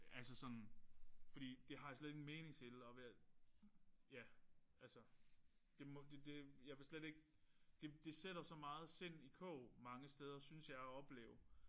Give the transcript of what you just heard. Altså sådan fordi det har jeg slet ikke en mening til og ved at ja altså det må det det jeg vil slet ikke det det sætter så mane sind i kog synes jeg at opleve